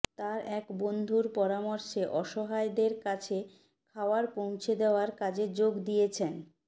তার এক বন্ধুর পরামর্শে অসহায় দের কাছে খাওয়ার পৌঁছে দেওয়ার কাজে যোগ দিয়েছেন